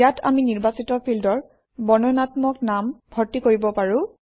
ইয়াত আমি নিৰ্বাচিত ফিল্ডৰ বৰ্ণনাত্মক নাম ভৰ্তি কৰিব পাৰোঁ